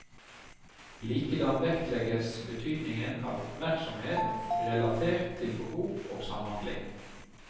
Likedan vektlegges betydningen av oppmerksomhet relatert til behov og samhandling.